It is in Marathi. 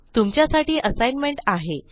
तुमच्या साठी असाइनमेंट आहे